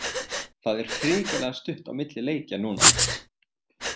Það er hrikalega stutt á milli leikja núna.